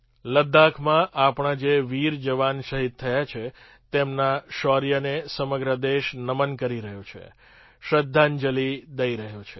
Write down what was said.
લદ્દાખમાં આપણા જે વીર જવાન શહીદ થયા છે તેમના શૌર્યને સમગ્ર દેશ નમન કરી રહ્યો છે શ્રદ્ધાંજલિ દઈ રહ્યો છે